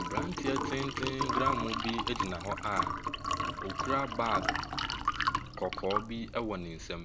Aberanteɛ tenten gramoo bi gyina hɔ a ɔkura bag kɔkɔɔ bi wɔ ne nsam,